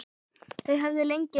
Þau höfðu lengi reynt.